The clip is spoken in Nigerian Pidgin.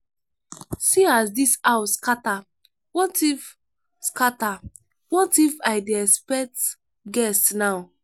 see as dis house scatter what if scatter what if i dey expect guest now